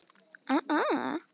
Vel gert, afi.